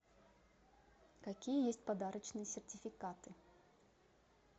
какие есть подарочные сертификаты